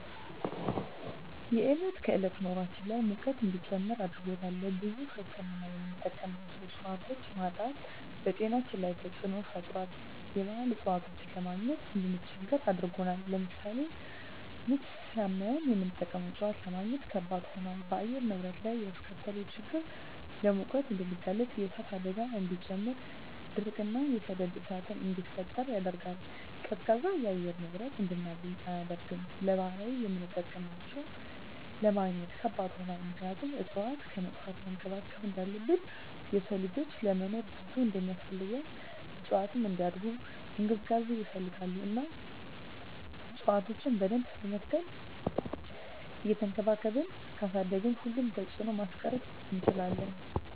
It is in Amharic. የዕለት ከዕለት ኑራችን ላይ ሙቀት እንዲጨምር አድርጎታል። ለብዙ ህክምና የምንጠቀማቸው እፅዋቶች ማጣት በጤናችን ላይ ተፅዕኖ ፈጥሯል የባህል እፅዋቶችን ለማግኘት እንድንቸገር አድርጎናል። ለምሳሌ ምች ሳመን የምንጠቀመው እፅዋት ለማግኘት ከበድ ሆኗል። በአየር ንብረት ላይ ያስከተለው ችግር ለሙቀት እንድንጋለጥ የእሳት አደጋን እንዲጨምር ድርቅ እና የሰደድ እሳትን እንዲፈጠር ያደርጋል። ቀዝቃዛ የአየር ንብረት እንድናገኝ አያደርግም። ለባህላዊ የምጠቀምባቸው ለማግኘት ከባድ ሆኗል ምክንያቱም እፅዋትን ከማጥፋት መንከባከብ እንዳለብን የሰው ልጅ ለመኖር ብዙ እንደማስፈልገው እፅዋትም እንዲያድጉ እንክብካቤ ይፈልጋሉ እና እፅዋቶችን በደንብ በመትከል እየቸንከባከብን ካሳደግን ሁሉንም ተፅዕኖ ማስቀረት እንችላለን።